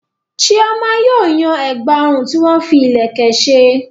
Chioma yóò yan ẹ̀gbà ọrùn tí wọ́n fi ìlẹ̀kẹ̀ ṣe.